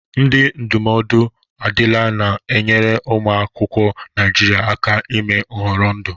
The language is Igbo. Ndị ndụmọdụ adila na-enyere ụmụ akwụkwọ Naịjiria aka ime nhọrọ ndụ.